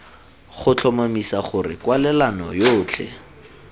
go tlhomamisa gore kwalelano yotlhe